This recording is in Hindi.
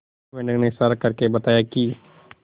उस मेंढक ने इशारा करके बताया की